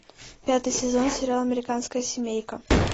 пятый сезон сериал американская семейка